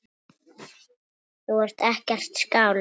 Þú ert ekkert skáld.